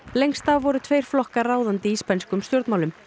lengst af voru tveir flokkar ráðandi í spænskum stjórnmálum